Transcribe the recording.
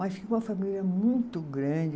Mas tinha uma família muito grande.